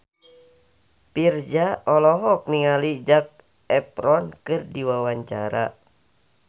Virzha olohok ningali Zac Efron keur diwawancara